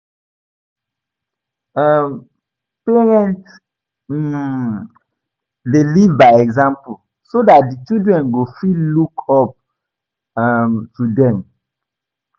um Parents um de live by example so that di children go fit look up um to dem